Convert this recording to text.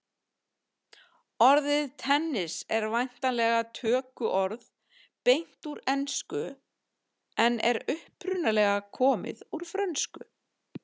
Orðið tennis en væntanlega tökuorð beint úr ensku en er upprunalega komið úr frönsku.